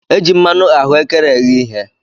E ji mmanụ ahuekere eghe ihe.